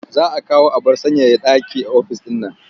Za a kawo abar sanyaya ɗaki ofis ɗin man.